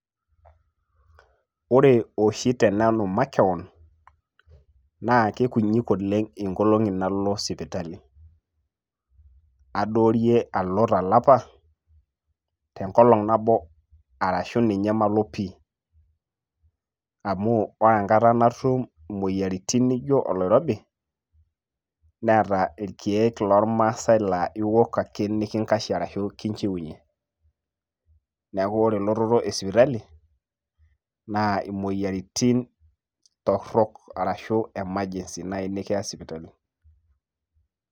Ore oshi tenanu makeon, na kekunyit oleng' inkolong'i nalo sipitali. Adoorie alo talapa, tenkolong' nabo arashu ninye malo pi. Amu ore enkata natum imoyiaritin nijo oloirobi, nerta irkeek lormaasai la iwok ake nikinkashie arashu kinchiunye. Neeku ore elototo esipitali, naa imoyiaritin torrok arashu emergency nai nikiya sipitali.